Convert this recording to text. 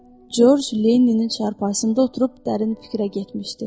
Corc Leninin çarpayısında oturub dərin fikrə getmişdi.